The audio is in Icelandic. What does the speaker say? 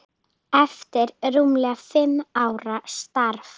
eftir rúmlega fimm ára starf.